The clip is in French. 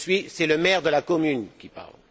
C'est le maire de la commune qui parle.